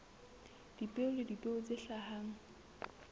dipeo le dipeo tse hlahang